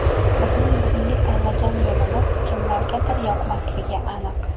Bizning bugungi tanlagan yo‘limiz kimlargadir yoqmasligi aniq.